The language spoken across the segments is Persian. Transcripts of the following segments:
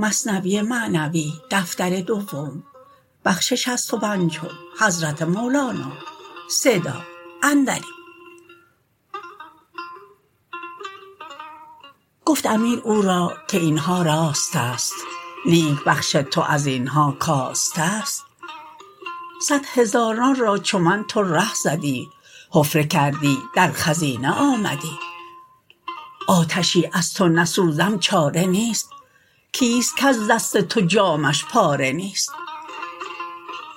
گفت امیر او را که اینها راستست لیک بخش تو ازینها کاستست صد هزاران را چو من تو ره زدی حفره کردی در خزینه آمدی آتشی از تو نسوزم چاره نیست کیست کز دست تو جامه ش پاره نیست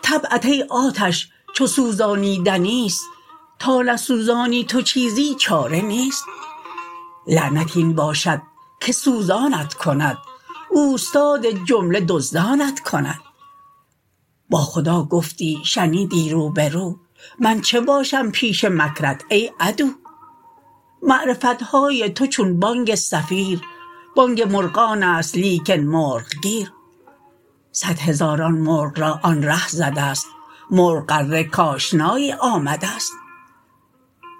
طبعت ای آتش چو سوزانیدنیست تا نسوزانی تو چیزی چاره نیست لعنت این باشد که سوزانت کند اوستاد جمله دزدانت کند با خدا گفتی شنیدی روبرو من چه باشم پیش مکرت ای عدو معرفتهای تو چون بانگ صفیر بانگ مرغانست لیکن مرغ گیر صد هزاران مرغ را آن ره زدست مرغ غره کآشنایی آمدست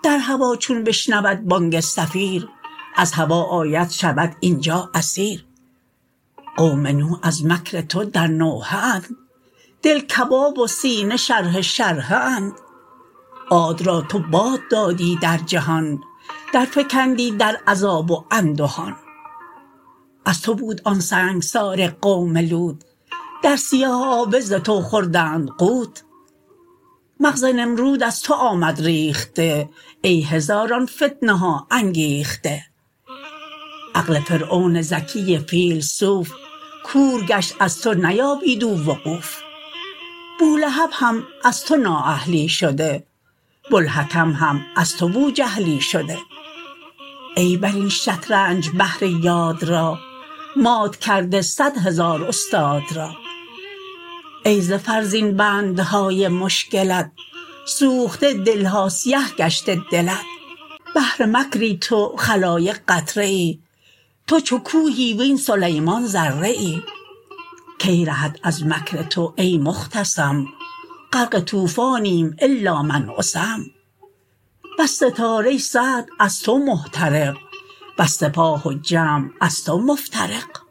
در هوا چون بشنود بانگ صفیر از هوا آید شود اینجا اسیر قوم نوح از مکر تو در نوحه اند دل کباب و سینه شرحه شرحه اند عاد را تو باد دادی در جهان در فکندی در عذاب و اندهان از تو بود آن سنگسار قوم لوط در سیاهابه ز تو خوردند غوط مغز نمرود از تو آمد ریخته ای هزاران فتنه ها انگیخته عقل فرعون ذکی فیلسوف کور گشت از تو نیابید او وقوف بولهب هم از تو نااهلی شده بوالحکم هم از تو بوجهلی شده ای برین شطرنج بهر یاد را مات کرده صد هزار استاد را ای ز فرزین بندهای مشکلت سوخته دلها سیه گشته دلت بحر مکری تو خلایق قطره ای تو چو کوهی وین سلیمان ذره ای کی رهد از مکر تو ای مختصم غرق طوفانیم الا من عصم بس ستاره سعد از تو محترق بس سپاه و جمع از تو مفترق